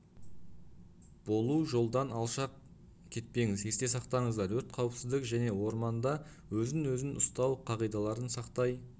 болу жолдан алшақ кетпеңіз есте сақтаңыздар өрт қауіпсіздік және орманда өзін өзін ұстану қағидаларын сақтай